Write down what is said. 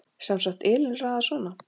Sem sagt, Elín raðar svona